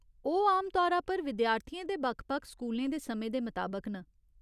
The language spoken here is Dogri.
ओह् आमतौरा पर विद्यार्थियें दे बक्ख बक्ख स्कूलें दे समें दे मताबक न।